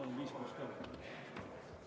Palun viis pluss kolm!